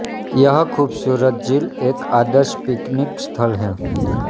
यह खूबसूरत झील एक आदर्श पिकनिक स्थल है